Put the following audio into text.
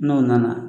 N'o nana